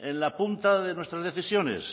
en la punta de nuestras decisiones